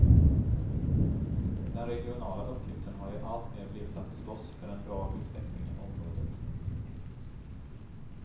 Den regionala uppgiften har ju alltmer blivit att slåss för en bra utveckling i området.